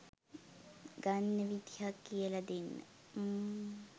ගන්න විදිහක් කියල දෙන්න